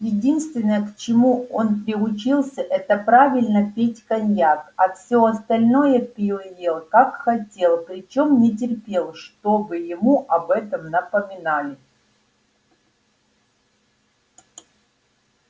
единственное к чему он приучился это правильно пить коньяк а всё остальное пил и ел как хотел причём не терпел чтобы ему об этом напоминали